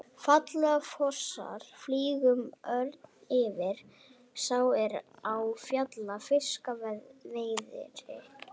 Falla fossar, flýgur örn yfir, sá er á fjalli fiska veiðir.